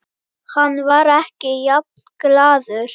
Hann var ekki jafn glaður.